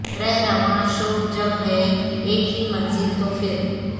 رہروان شوق جب ہے ایک ہی منزل تو پھر